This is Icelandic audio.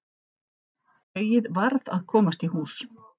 Tauið varð að komast í hús.